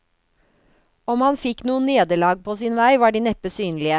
Om han fikk noen nederlag på sin vei, var de neppe synlige.